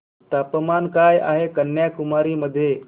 तापमान काय आहे कन्याकुमारी मध्ये